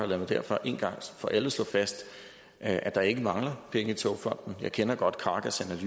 lad mig derfor en gang for alle slå fast at at der ikke mangler penge i togfonden jeg kender godt krakas